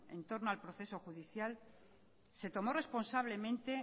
en torno al proceso judicial se tomó responsablemente